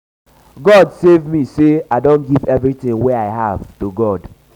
god save me say say i don give everything wey i have to god